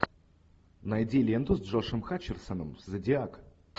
найди ленту с джошем хатчерсоном зодиак